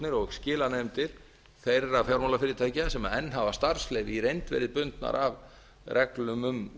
slitastjórnir og skilanefndir þeirra fjármálafyrirtækja sem enn hafa starfsleyfi í reynd verið bundnar af reglum um